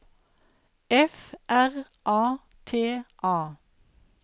F R A T A